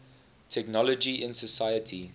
technology in society